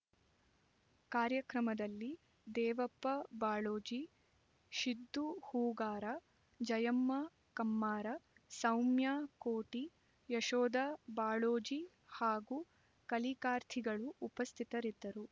ಕಾರ್ಯಕ್ರಮದಲ್ಲಿ ದೇವಪ್ಪ ಬಾಳೋಜಿ ಶಿದ್ದು ಹೂಗಾರ ಜಯಮ್ಮ ಕಮ್ಮಾರ ಸೌಮ್ಯಾ ಕೋಟಿ ಯಶೋದಾ ಬಾಳೋಜಿ ಹಾಗೂ ಕಲಿಕಾರ್ಥಿಗಳು ಉಪಸ್ಥಿತರಿದ್ದರು